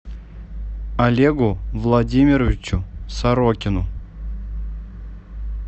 олегу владимировичу сорокину